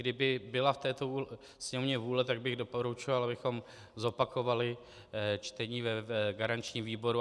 Kdyby byla v této Sněmovně vůle, tak bych doporučoval, abychom zopakovali čtení v garančním výboru.